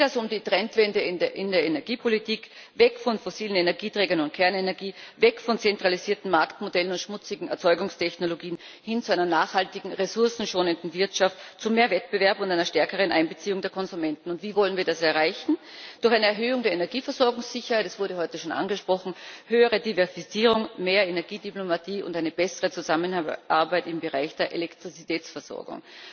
Es geht also um die Trendwende in der Energiepolitik Weg von fossilen Energieträgern und Kernenergie, weg von zentralisierten Marktmodellen und schmutzigen Erzeugungstechnologien, hin zu einer nachhaltigen, ressourcenschonenden Wirtschaft, zu mehr Wettbewerb und einer stärkeren Einbeziehung der Konsumenten. Wie wollen wir das erreichen? Durch eine Erhöhung der Energieversorgung sicher, das wurde heute schon angesprochen höhere Diversifizierung, mehr Energiediplomatie und eine bessere Zusammenarbeit im Bereich der Elektrizitätsversorgung.